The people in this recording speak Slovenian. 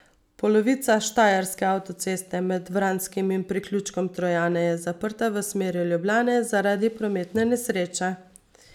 Polovica štajerske avtoceste med Vranskim in priključkom Trojane je zaprta v smeri Ljubljane zaradi prometne nesreče.